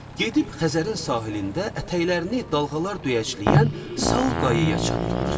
Gedib Xəzərin sahilində ətəklərini dalğalar döyəcləyən sal qayaya çatdılar.